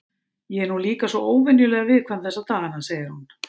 Ég er nú líka svo óvenjulega viðkvæm þessa dagana, segir hún.